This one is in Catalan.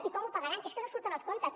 i com ho pagaran és que no surten els comptes